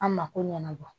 An mako ɲɛnabɔ